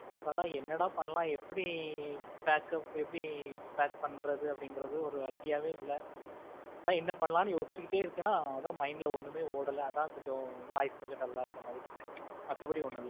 அதான் என்னடா பண்ணலாம் எப்படி packup எப்படி pack பண்றது அப்படிங்கறது ஒரு idea வே இல்ல, அதான் என்ன பண்ணலாம்னு யோசிச்சுக்கிட்டே இருக்கிறேனா அதான் mind ல ஒண்ணுமே ஓடல அதான் கொஞ்சம் voice கொஞ்சம் dull ஆ இருக்கிற மாதிரி இருக்கு. மத்தபடி ஒன்னும் இல்ல.